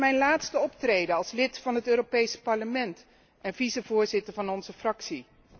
Dit is mijn laatste optreden als lid van het Europees Parlement en vicevoorzitter van onze fractie.